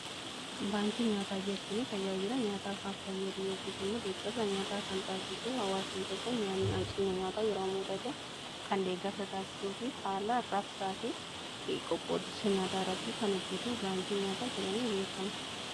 Baankii nyaataa jechuun tajaajila nyaataa kan fayyadu yookiis immoo deeggarsa nyaataa kan taasisu hawaasni tokko nyaanni hanqinni nyaataa yeroo mudate kan deeggarsa taasisuu fi haala raabsaa fi qoqqoodinsa nyaataa irratti kan hojjetu baankii nyaataa jedhamee beekama.